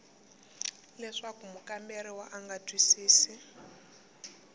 leswaku mukamberiwa a nga twisisi